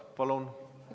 Palun!